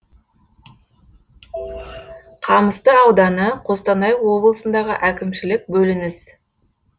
қамысты ауданы қостанай облысындағы әкімшілік бөлініс